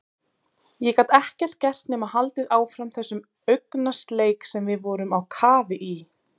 Ég gat ekkert gert nema haldið áfram þessum augnasleik sem við vorum á kafi í.